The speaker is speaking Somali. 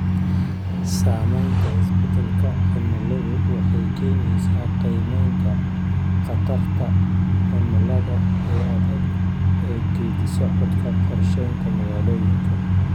Saamaynta isbeddelka cimiladu waxay keenaysaa qiimaynta khatarta cimilada ee adag ee geeddi-socodka qorshaynta magaalooyinka.